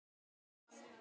Takk fyrir, Holla.